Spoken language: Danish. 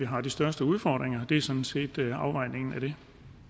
har de største udfordringer det er sådan set afvejningen af det